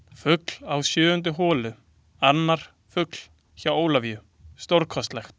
Fugl á sjöundu holu Annar fugl hjá Ólafíu, stórkostlegt.